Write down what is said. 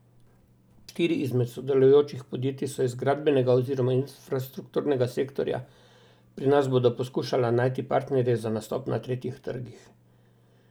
Štiri izmed sodelujočih podjetij so iz gradbenega oziroma infrastrukturnega sektorja, pri nas bodo poskušala najti partnerje za nastop na tretjih trgih.